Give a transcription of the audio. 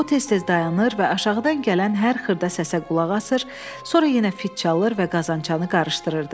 O, tez-tez dayanır və aşağıdan gələn hər xırda səsə qulaq asır, sonra yenə fit çalır və qazançanı qarışdırırdı.